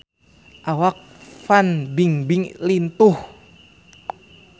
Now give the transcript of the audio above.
Awak Fan Bingbing lintuh